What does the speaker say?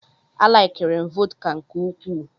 A laikiri m vọdka nke ukwuu.